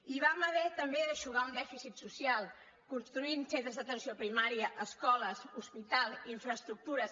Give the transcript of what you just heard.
i vam haver també d’eixugar un dèficit social construint centres d’atenció primària escoles hospitals infraestructures